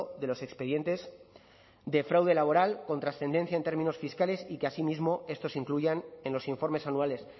de los expedientes de fraude laboral con trascendencia en términos fiscales y que asimismo estos incluyan en los informes anuales